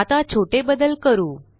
आता छोटे बदल करू